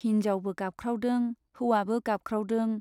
हिन्जावबो गाबख्रावदों , हौवाबो गाबख्रावदों।